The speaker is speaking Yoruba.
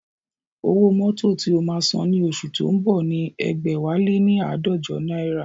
Owó mótò tí o máa san ní oṣù tó ń bọ̀ ni ẹgbẹ̀wáléní aadọjọ náírà